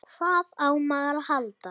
Hvað á maður að halda?